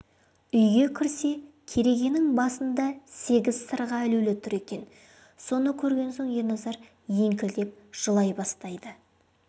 үйге кірсе керегенің басында сегіз сырға ілулі тұр екен соны көрген соң ерназар еңкілдеп жылай бастайды